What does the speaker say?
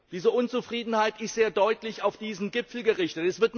Diese Unzufriedenheit ist sehr deutlich auf diesen Gipfel gerichtet.